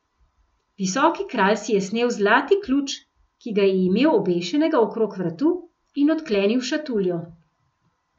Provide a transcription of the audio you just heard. Visoki kralj si je snel zlati ključ, ki ga je imel obešenega okrog vratu, in odklenil šatuljo.